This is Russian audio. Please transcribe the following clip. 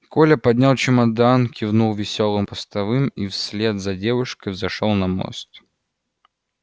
коля поднял чемодан кивнул весёлым постовым и вслед за девушкой взошёл на мост